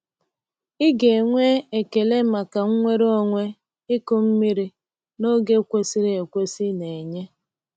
Ị ga-enwe ekele maka nnwere onwe ịkụ mmiri n’oge kwesịrị ekwesị na-enye.